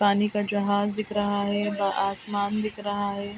पानी का जहाज दिख रहा है व आसमान दिख रहा है।